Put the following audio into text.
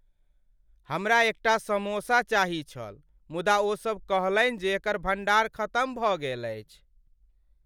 हमरा एकटा समोसा चाहैत छल मुदा ओसभ कहलनि जे एकर भण्डार खतम भऽ गेल अछि।